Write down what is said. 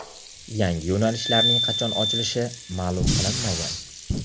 Yangi yo‘nalishlarning qachon ochilishi ma’lum qilinmagan.